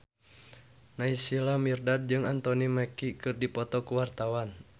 Naysila Mirdad jeung Anthony Mackie keur dipoto ku wartawan